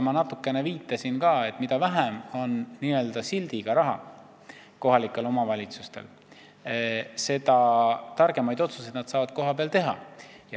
Ma natukene juba viitasin ka sellele, et mida vähem on kohalikel omavalitsustel n-ö sildiga raha, seda targemaid otsuseid nad saavad kohapeal teha.